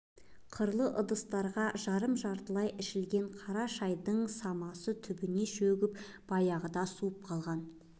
қырлы ыдыстарға жарым-жартылай ішілген қара шайдың самасы түбіне шөгіп баяғыда суып қалған